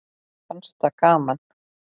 Mér fannst það gaman.